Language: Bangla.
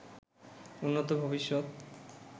উন্নত ভবিষ্যৎ